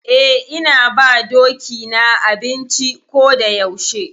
Eh, ina ba doki na abinci ko da yaushe.